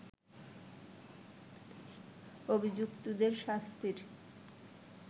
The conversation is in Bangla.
অভিযুক্তদের শাস্তির